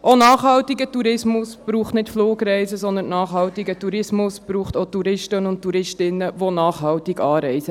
Auch nachhaltiger Tourismus braucht nicht Flugreisen, sondern auch Touristen und Touristinnen, die nachhaltig anreisen.